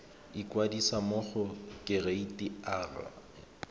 ikwadisa mo go kereite r